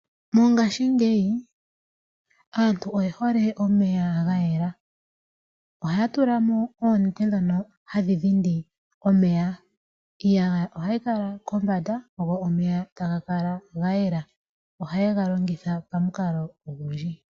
Mongaashingeyi aantu oye hole omeya ga yela, ohaya tula mo oonete ndhono hadhi dhindi omeya. Iiyagaya ohayi kala kombanda go omeya taga kala ga yela. Ohaye ga longitha pamikalo odhindji.